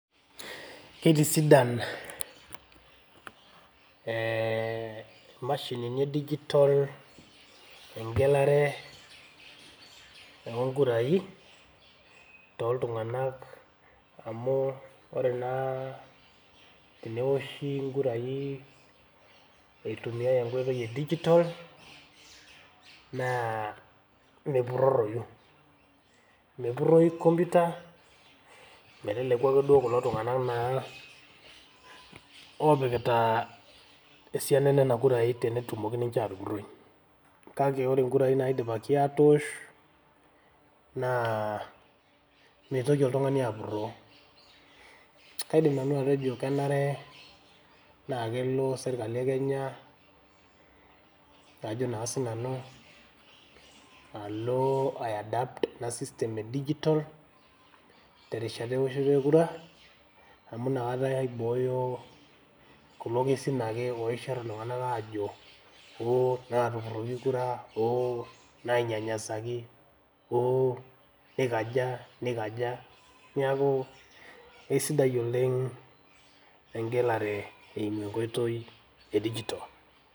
Keitisidan eeh imashinini e digital egelare oo nkurai too iltung`anak, amu ore naa tenewoshi nkurai eitumia enkoitoi e digital naa mepurroroyu. Mepurroyu computer meteleku ake duo kulo tung`anak naa oopikita esiana enena kurai tenetumoki ninche aatupurroi. Kake ore nkurai naidipaki atoosh naa meitoki oltung`ani apurroo. Kaidim nanu atejo kenare naa kelo sirkali e Kenya ajo naa sii nanu alo ai adapt ena system e digital terishata e woshoto e kura. Amu inakata eibooyo kulo kesin ake oishirr iltung`anak aajo, ooh naatupuroki kura, ooh nainyanyasaki, oo nikaja, nikaja. Niaku eisidai oleng egelare eimu e nkoitoi e digital.